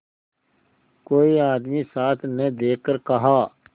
कोई आदमी साथ न देखकर कहा